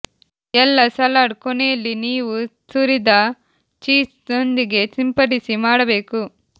ಎಲ್ಲಾ ಸಲಾಡ್ ಕೊನೆಯಲ್ಲಿ ನೀವು ತುರಿದ ಚೀಸ್ ನೊಂದಿಗೆ ಸಿಂಪಡಿಸಿ ಮಾಡಬೇಕು